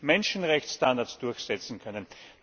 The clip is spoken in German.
Wir müssen Menschenrechtsstandards durchsetzen können.